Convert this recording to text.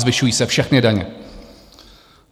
Zvyšují se všechny daně.